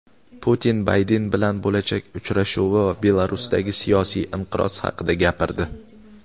Putin Bayden bilan bo‘lajak uchrashuvi va Belarusdagi siyosiy inqiroz haqida gapirdi.